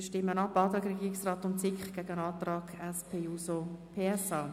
Wir stimmen ab und stellen den Antrag Regierungsrat/SiK dem Antrag SP-JUSO-PSA gegenüber.